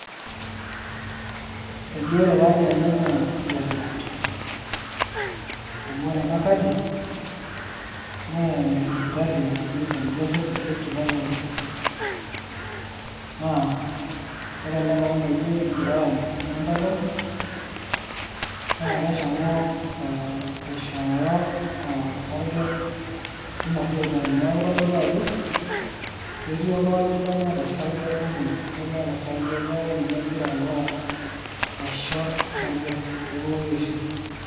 eji ore taadii ena naa enetipat, amu ore ena kadi naa ene sipitali naji, st josph rift valley hospital. ore ele tungani oji brian muntolol, naa keshomo aishooyo osarge teina sipitali, neeku kitodolu ajo ketiii oltungani lemeeta osarge teina sipitali, neeku ninye eshomo aisho pee etumoki aishiu.